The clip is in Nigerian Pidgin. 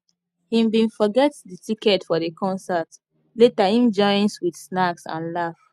him bin forget the ticket for the concert later him joins with snacks and laugh